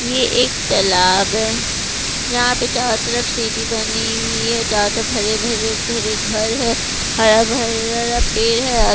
ये एक तालाब है यहाँ पे चारों तरफ सीधी बनी हुई है चारों तरफ हरे भरे घरे घर है हरा भरा पेर है --